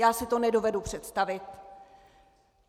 Já si to nedovedu představit.